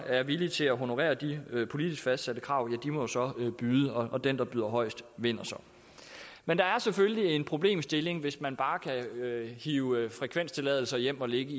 er villige til at honorere de politisk fastsatte krav må så byde og den der byder højest vinder men der er selvfølgelig en problemstilling hvis man bare kan hive frekvenstilladelser hjem og lægge